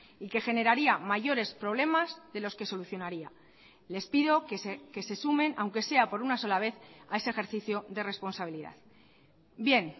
y que generaría mayores problemas de los que solucionaría les pido que se sumen aunque sea por una sola vez a ese ejercicio de responsabilidad bien